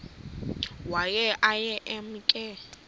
waye aye emke